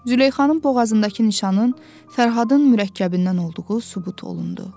Züleyxanın boğazındakı nişanın Fərhadın mürəkkəbindən olduğu sübut olundu.